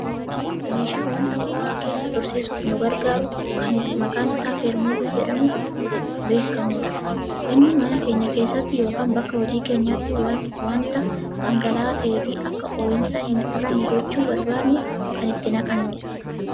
meeshaa wanta ho'aa keessa tursiisuuf nugargaaru kan maqaan isaa Feermuzii jedhamuun beekkamudha. inni mana keenya keessatti yookaan bakka hojii keenyaatti wanda dhangala'aa ta'eefi akka ho'i isaa hin hir'anne gochuu barbaadnu kan itti naqannudha.